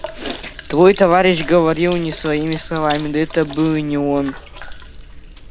твой товарищ говорил не своими словами да это был и не он